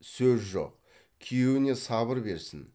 сөз жоқ күйеуіне сабыр берсін